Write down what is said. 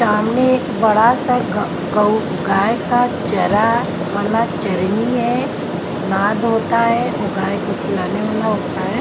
सामने एक बड़ा सा गौ गौऊ गाय का चरा वाला चरनी है नाद होता ह वो गाय को खिलाने वाला होता है।